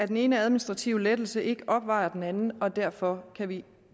den ene administrative lettelse ikke opvejer den anden og derfor kan vi